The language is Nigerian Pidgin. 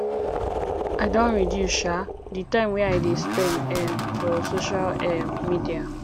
i don reduce um di time wey i dey spend um for social um media